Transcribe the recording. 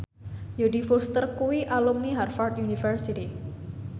Jodie Foster kuwi alumni Harvard university